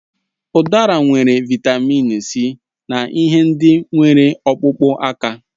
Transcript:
Udara nwere Vị́tamị́n C na ihe ndị na enwere ọkpụkpụ aka